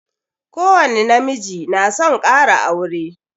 Ko wani na miji na son kara aure